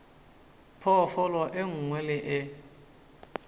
phoofolo e nngwe le e